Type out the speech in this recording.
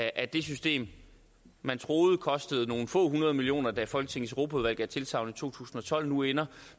at det system man troede kostede nogle få hundrede millioner kroner da folketingets europaudvalg gav tilsagn i to tusind og tolv nu ender